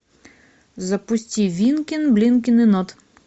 запусти винкин блинкин и нод